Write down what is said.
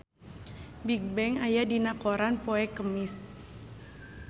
Bigbang aya dina koran poe Kemis